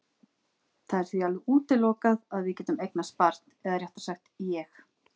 Það er því alveg útilokað að við getum eignast barn eða réttara sagt ég.